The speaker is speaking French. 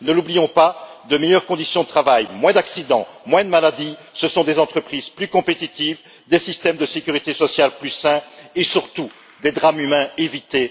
Ne l'oublions pas, de meilleures conditions de travail, moins d'accidents, moins de maladies, ce sont des entreprises plus compétitives, des systèmes de sécurité sociale plus sains et surtout des drames humains évités.